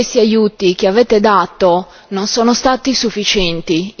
Gli aiuti che avete dato non sono stati sufficienti.